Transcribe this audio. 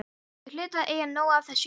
Þau hlutu að eiga nóg af þessu hérna.